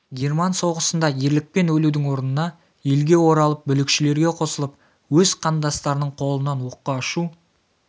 герман соғысында ерлікпен өлудің орнына елге оралып бүлікшілерге қосылып өз қандастарының қолынан оққа ұшу